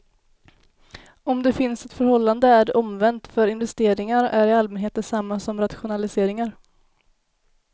Om det finns ett förhållande är det omvänt, för investeringar är i allmänhet detsamma som rationaliseringar.